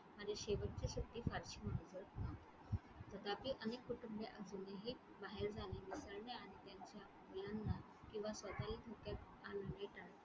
आणि शेवटची सुट्टी फारशी तथापि अनेक कुटुंब असून हि बाहेर जाणे किंवा .